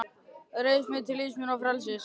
Reis mig við til lífs og frelsis!